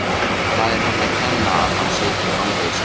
Það er henni að kenna að hann situr í fangelsi.